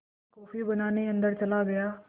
मैं कॉफ़ी बनाने अन्दर चला गया